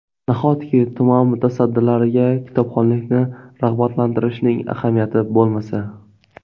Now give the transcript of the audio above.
Nahotki tuman mutasaddilariga kitobxonlikni rag‘batlantirishning ahamiyati bo‘lmasa?